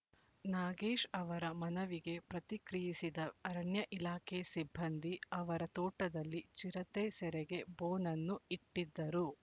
ನಾಗೇಶ್ ಅವರ ಮನವಿಗೆ ಪ್ರತಿಕ್ರಿಯಿಸಿದ ಅರಣ್ಯ ಇಲಾಖೆ ಸಿಬ್ಬಂದಿ ಅವರ ತೋಟದಲ್ಲಿ ಚಿರತೆ ಸೆರೆಗೆ ಬೋನನ್ನು ಇಟ್ಟಿದ್ದರು